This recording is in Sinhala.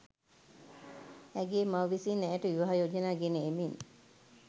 ඇගේ මව විසින් ඇයට විවාහ යෝජනා ගෙන එමින්